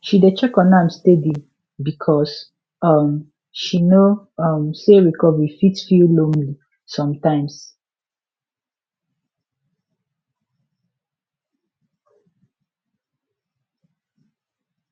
she dey check on am steady because um she know um say recovery fit feel lonely sometimes